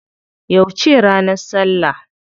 Yauce ne ranar suna?